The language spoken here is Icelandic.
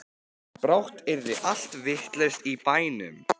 Brátt yrði allt vitlaust í bænum.